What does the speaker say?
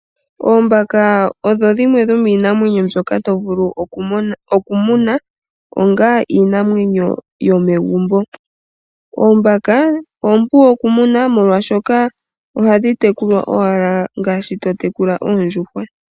Oombaka odho dhimwe dhomiinamwenyo mbyoka to vulu oku muna onga iinamwenyo yomegumbo. Oombaka ompu oku muna molwashoka ohadhi tekulwa owala ngaashi to tekula oondjuhwa.